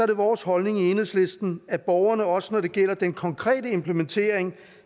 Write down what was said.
det vores holdning i enhedslisten at borgerne også når det gælder den konkrete implementering